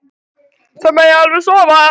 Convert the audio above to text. Það megi alveg sofa.